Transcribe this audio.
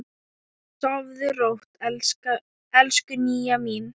Sofðu rótt, elsku Nýja mín.